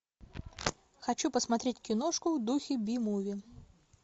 хочу посмотреть киношку в духе би муви